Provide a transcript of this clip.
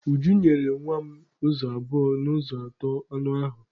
Ujunwa nyere nwa m ụzọ abụọ n'ụzọ atọ anụ ahụ.